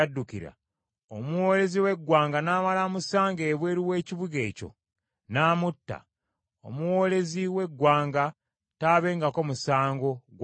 omuwoolezi w’eggwanga n’amala amusanga ebweru w’ekibuga ekyo, n’amutta, omuwoolezi w’eggwanga taabengako musango gwa butemu.